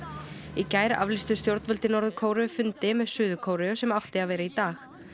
í gær aflýstu stjórnvöld í Norður Kóreu fundi með Suður Kóreu sem átti að vera í dag